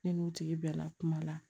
Ne n'u tigi bɛɛ la kuma la